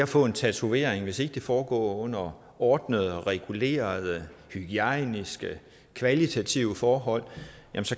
få en tatovering hvis ikke det foregår under ordnede regulerede hygiejniske kvalitetsbetonede forhold